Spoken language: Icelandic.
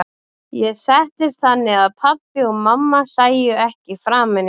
Ég settist þannig að pabbi og mamma sæju ekki framan í mig.